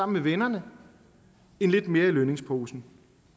med vennerne end lidt mere i lønningsposen